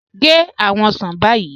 Gẹ́ awọn osán báyì